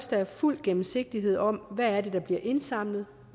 der fuld gennemsigtighed om hvad det er der bliver indsamlet